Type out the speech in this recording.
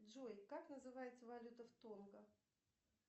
джой как называется валюта в тонго